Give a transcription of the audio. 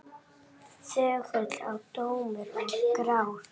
Þögull og tómur og grár.